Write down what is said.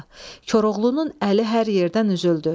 Koroğlunun əli hər yerdən üzüldü.